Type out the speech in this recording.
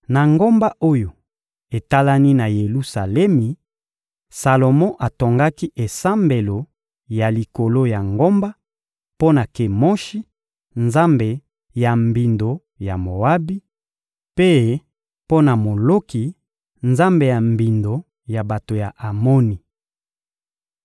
Na ngomba oyo etalani na Yelusalemi, Salomo atongaki esambelo ya likolo ya ngomba mpo na Kemoshi, nzambe ya mbindo ya Moabi; mpe mpo na Moloki, nzambe ya mbindo ya bato ya Amoni.